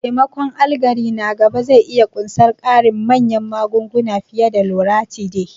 Taimakon allergy na gaba zai iya ƙunsar ƙarin manyan magunguna fiye da Loratiday.